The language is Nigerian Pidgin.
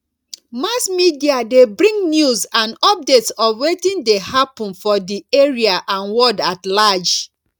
mass media de bring news and updates of wetin de happen for di area and world at large